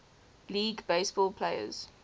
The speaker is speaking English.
league baseball players